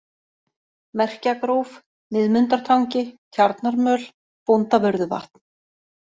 Merkjagróf, Miðmundartangi, Tjarnarmöl, Bóndavörðuvatn